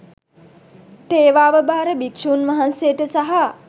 තේවාව භාර භික්‍ෂූන් වහන්සේට සහ